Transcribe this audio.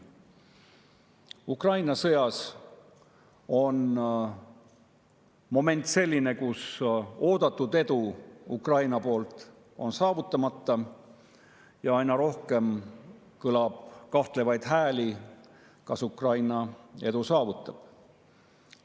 Ukraina sõjas on olukord selline, kus oodatud edu on Ukrainal saavutamata ja aina rohkem kõlab kahtlevaid hääli, kas Ukraina üldse edu saavutab.